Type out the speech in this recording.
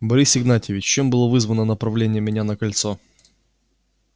борис игнатьевич чем было вызвано направление меня на кольцо